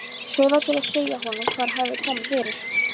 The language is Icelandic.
Sölva til að segja honum hvað hefði komið fyrir.